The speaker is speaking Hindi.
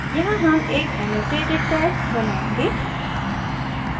यहाँ हम एक annotated tag बनायेंगे